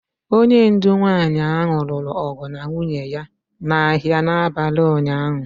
Onye ndu nwanyị ahụ lụrụ ọgụ na nwunye ya n'ahịa n'abalị ụnyaahụ